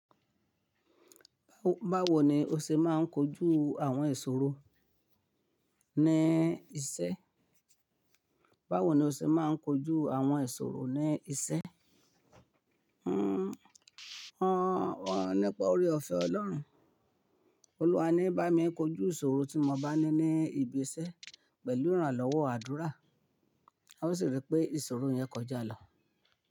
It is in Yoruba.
Báwo ni o ṣe máa ń kojú àwọn ìṣòro ní iṣẹ́? Báwo ni o ṣe máa ń kojú àwọn ìṣòro ní iṣẹ́? Hmmm, wọ́n nípa oore-ọ̀fẹ́ Ọlọ́run. Olúwa ní bá mi kojú ìṣòro tí mo bá ní ní ibi iṣẹ́ pẹ̀lú ìrànlọ́wọ́ àdúrà. A ó sì rí pé ìṣòro yẹn kọjá lọ.